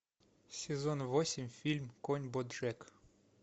сезон восемь фильм конь боджек